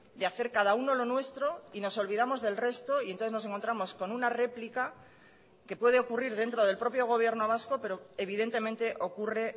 de hacer cada uno lo nuestro y nos olvidamos del resto y entonces nos encontramos con una réplica que puede ocurrir dentro del propio gobierno vasco pero evidentemente ocurre